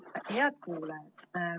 Head kuulajad!